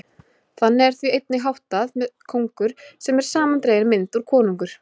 Þannig er því einnig háttað með kóngur, sem er samandregin mynd úr konungur.